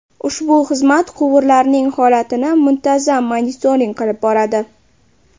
Ushbu xizmat quvurlarning holatini muntazam monitoring qilib boradi.